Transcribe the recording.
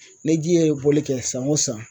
Ni ji ye bɔli kɛ san o san